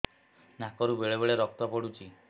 ନାକରୁ ବେଳେ ବେଳେ ରକ୍ତ ପଡୁଛି